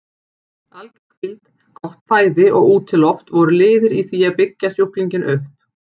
Alger hvíld, gott fæði og útiloft voru liðir í því að byggja sjúklinginn upp.